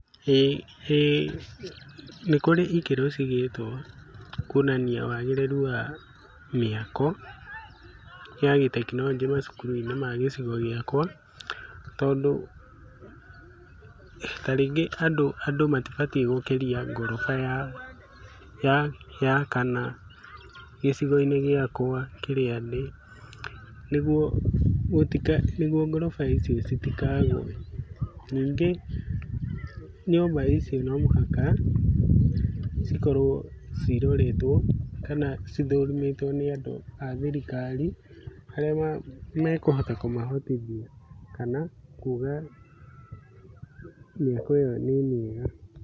Ĩĩ Nĩ kũrĩ ikĩro cigĩtwo kwonania wagĩrĩru wa mĩako, ya gĩ tekinoronjĩ kĩa macukuru-inĩ ma ĩcigo-inĩ gĩakwa tondũ andũ matibatie gũkĩtia ngoroba ya kana gĩcigo-inĩ kĩrĩa ndĩ, nĩguo ngoroba icio itikagwe, ningĩ nyũmba ici no mũhaka cikorwo cikoretwo kana cithũrimĩtwo nĩ andũ a thirikari arĩa mekũhota kũmahotithia kana kuga mĩako ĩyo nĩ mĩega.